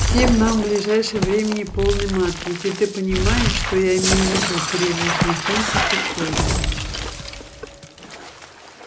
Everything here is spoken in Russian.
всем нам в ближайшем времени полный мат если ты понимаешь что я имею в виду криво усмехнулся сухой